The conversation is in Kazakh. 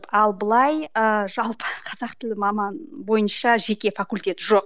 ал былай ыыы жалпы қазақ тілі маманы бойынша жеке факультет жоқ